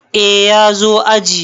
Eh ya zo aji.